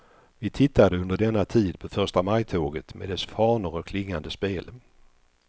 Vi tittade under denna tid på förstamajtåget med dess fanor och klingande spel.